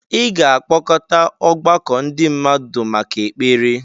ị ga-akpọkọta ọgbakọ ndị mmadụ maka ekpere